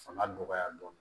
Fanga dɔgɔya dɔɔnin